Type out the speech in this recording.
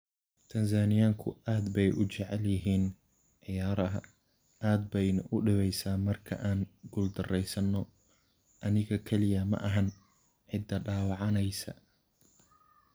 "Tanzaaniyaanku aad bay u jecel yihiin ciyaaraha, aad bayna u dhibaysaa marka aan guuldarraysano - aniga kaliya maahan cidda dhaawacanaysa."